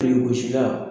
Birikigosila